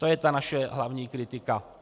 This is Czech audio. To je ta naše hlavní kritika.